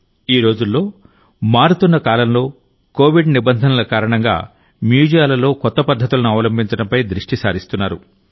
ఈరోజుల్లో మారుతున్న కాలంలోకోవిడ్ నిబంధనల కారణంగామ్యూజియాలలో కొత్త పద్ధతులను అవలంబించడంపై దృష్టి సారిస్తున్నారు